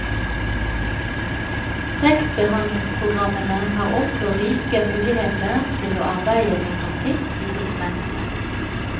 Tekstbehandlingspogrammene har også rike muligheter til å arbeide med grafikk i dokumentene.